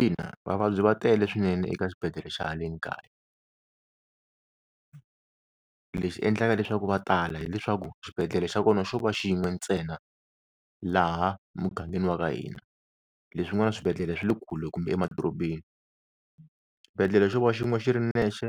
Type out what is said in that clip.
Ina vavabyi va tele swinene eka xibedhlele xa haleni kaya. Lexi endlaka leswaku va tala hileswaku xibedhlele xa kona xo va xin'we ntsena laha mugangeni wa ka hina, leswin'wana swibedhlela swi le kule kumbe emadorobeni. Xibedhlela xo va xin'we xi ri nexe